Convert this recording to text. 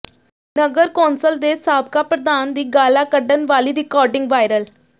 ਨਗਰ council ਦੇ ਸਾਬਕਾ ਪ੍ਰਧਾਨ ਦੀ ਗਾਲ੍ਹਾਂ ਕੱਢਣ ਵਾਲੀ ਰਿਕਾਰਡਿੰਗ ਵਾਇਰਲ